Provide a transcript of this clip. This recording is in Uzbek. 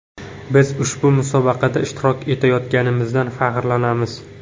Biz ushbu musobaqada ishtirok etayotganligimizdan faxrlanamiz.